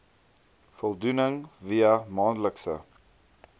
voldoening via maandelikse